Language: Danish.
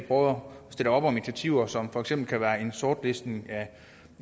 om initiativer som for eksempel kan være en sortlistning af